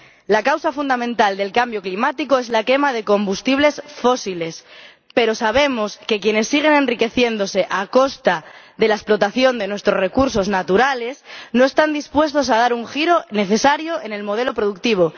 La causa fundamental del cambio climático es la quema de combustibles fósiles, pero sabemos que quienes siguen enriqueciéndose a costa de la explotación de nuestros recursos naturales no están dispuestos a dar un giro necesario en el modelo productivo.